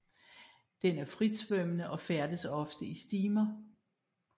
Den er fritsvømmende og færdes ofte i stimer